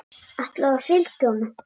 Og ætlarðu að fylgja honum?